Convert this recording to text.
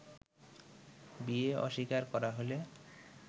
বিয়ে অস্বীকার করা হলে